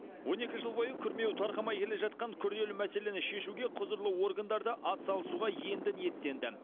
он екі жыл бойы күрмеуі тарқамай келе жатқан күрделі мәселені шешуге құзырлы органдарда атсалысуға енді ниеттенді